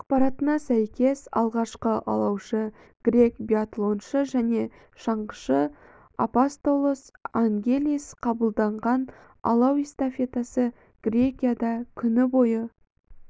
ақпаратына сәйкес алғашқы алаушы грек биатлоншы және шаңғышы апостолос ангелис қабылданған алау эстафетасы грекияда күн бойы